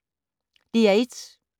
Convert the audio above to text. DR1